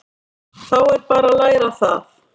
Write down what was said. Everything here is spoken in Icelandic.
Þá er bara að læra það!